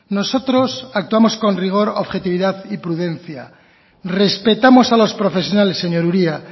nosotros actuamos con rigor objetividad y prudencia respetamos a los profesionales señor uria